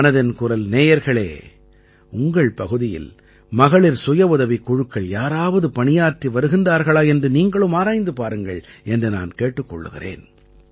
மனதின் குரல் நேயர்களே உங்கள் பகுதியில் மகளிர் சுயஉதவிக் குழுக்கள் யாராவது பணியாற்றி வருகிறார்களா என்று நீங்களும் ஆராய்ந்து பாருங்கள் என்று நான் கேட்டுக் கொள்கிறேன்